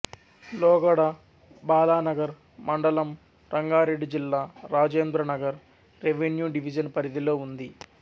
లోగడ బాలానగర్ మండలంరంగారెడ్డి జిల్లారాజేంద్రనగర్ రెవెన్యూ డివిజను పరిధిలో ఉంది